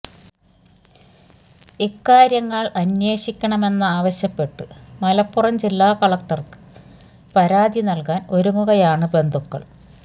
ഇക്കാര്യങ്ങള് അന്വേഷിക്കണമെന്നാവശ്യപ്പെട്ട് മലപ്പുറം ജില്ലാ കളക്ടര്ക്ക് പരാതി നല്കാന് ഒരുങ്ങുകയാണ് ബന്ധുക്കള്